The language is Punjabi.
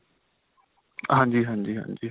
ਹਾਂਜੀ, ਹਾਂਜੀ, ਹਾਂਜੀ.